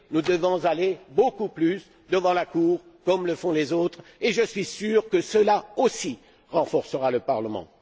Nous devons aller beaucoup plus devant la Cour, comme le font les autres, et je suis sûr que cela aussi renforcera le Parlement.